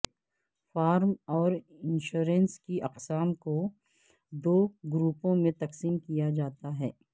form اور insurance کی اقسام کو دو گروپوں میں تقسیم کیا جاتا ہے